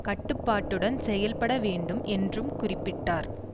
கட்டுப்பாட்டுடன் செயல்பட வேண்டும் என்றும் குறிப்பிட்டார்